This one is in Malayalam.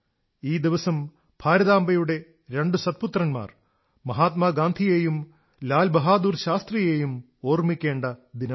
ഈ ദിവസം ഭാരതാംബയുടെ രണ്ടു സത്പുത്രന്മാർ മഹാത്മാ ഗാന്ധിയെയും ലാൽ ബഹാദുർ ശാസ്ത്രിയെയും ഓർമ്മിക്കേണ്ട ദിനമാണ്